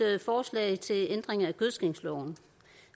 forslag til ændring af gødskningsloven